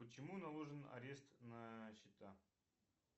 почему наложен арест на счета